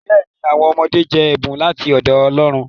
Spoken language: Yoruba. Bẹẹni, awọn ọmọde jẹ ẹbun lati ọdọ Ọlọ́run.